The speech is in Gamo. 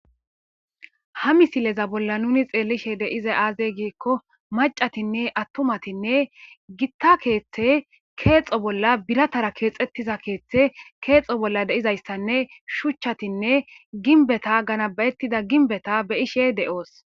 ha misileza bolla nuni xeellishe deize aaze giikko macatinne attomatinne gitta keeththe keexo bolla biratara keexettiza keeththe keexo bolla deizayssanne shuchchatinne ginbeta ganabayettida ginbeta beyishe de7oos